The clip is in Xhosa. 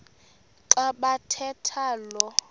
xa bathetha lo